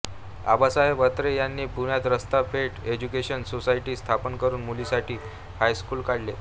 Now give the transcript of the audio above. आबासाहेब अत्रे यांनी पुण्यात Rasta Peth education society स्थापन करून मुलीसाठी हायस्कूल काढले